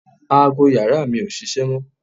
Aago yàrá mi ò ṣiṣẹ́ mọ́